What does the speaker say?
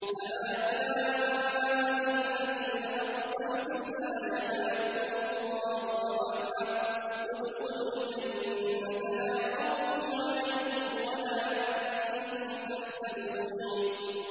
أَهَٰؤُلَاءِ الَّذِينَ أَقْسَمْتُمْ لَا يَنَالُهُمُ اللَّهُ بِرَحْمَةٍ ۚ ادْخُلُوا الْجَنَّةَ لَا خَوْفٌ عَلَيْكُمْ وَلَا أَنتُمْ تَحْزَنُونَ